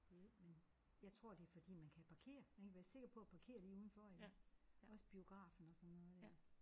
Jo men jeg tror det er fordi man kan parkere ik være sikker på at parkere lige ude foran også biografen og sådan noget der